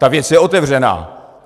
Ta věc je otevřená.